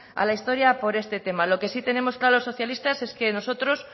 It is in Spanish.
al historia por este tema lo que sí tenemos claro los socialistas es que nosotros